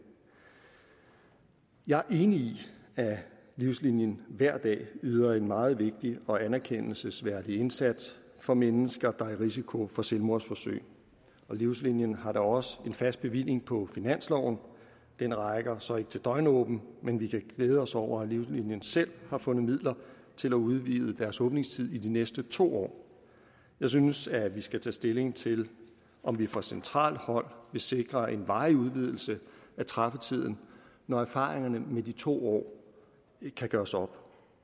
jeg er enig i at livslinien hver dag yder en meget vigtig og anerkendelsesværdig indsats for mennesker der er i risiko for selvmordsforsøg og livslinien har da også en fast bevilling på finansloven den rækker så ikke til døgnåbent men vi kan glæde os over at livslinien selv har fundet midler til at udvide deres åbningstid i de næste to år jeg synes at vi skal tage stilling til om vi fra centralt hold vil sikre en varig udvidelse at træffetiden når erfaringerne med de to år kan gøres op